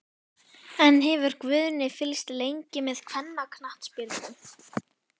En hefur Guðni fylgst lengi með kvennaknattspyrnu?